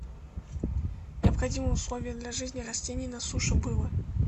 необходимым условием для жизни растений на суше было